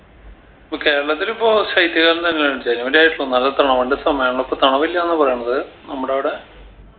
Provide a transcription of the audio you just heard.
അപ്പൊ കേരളത്തിലിപ്പോ ശൈത്യകാലം തന്നെയലെ ജനുവരി ആയിറ്റ്ലു നല്ല തണുപിൻറെ സമയാണല്ലോ ഇപ്പൊ തണുപില്ലാന്നാ പറയണത് നമ്മടവിടെ